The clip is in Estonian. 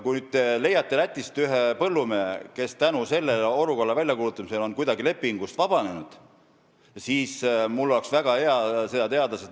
Kui te leiate Lätist ühe põllumehe, kes tänu selle olukorra väljakuulutamisele on kuidagi lepingust vabanenud, siis mul oleks väga hea meel seda teada.